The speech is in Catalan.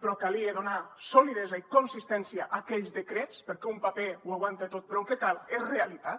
però calia donar solidesa i consistència a aquells decrets perquè un paper ho aguanta tot però el que cal és realitat